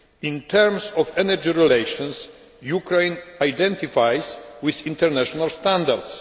In terms of energy relations, Ukraine identifies with international standards.